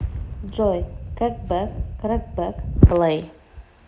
джой кэкбэк крэкбэк плэй